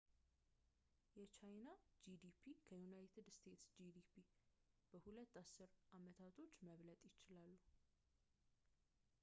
የቻይና ጂዲፒ ከዩናይትድ ስቴትስ ጂዲፒ በሁለት አስር አመታቶች መብለጥ ይችላል